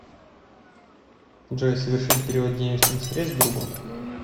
джой совершить перевод денежных средств другу